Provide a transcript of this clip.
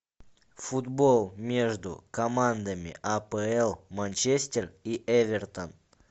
футбол между командами апл манчестер и эвертон